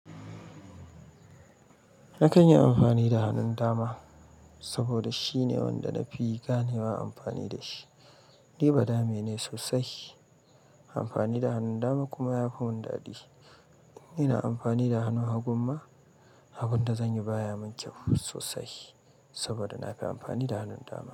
Na kan yi amfani da hannun dama saboda shine wanda na fi ganewa amfani da shi. Ni badame ne sosai. Amfani da hannun dama kuma yafi mun dadi. Ina amfani da hannu hagun ma, abunda zanyi baya mun kyau sosai saboda nafi amfani da hannun dama.